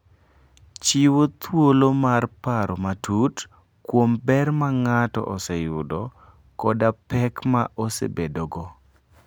Chiwo thuolo mar paro matut kuom ber ma ng'ato oseyudo koda pek ma osebedogo.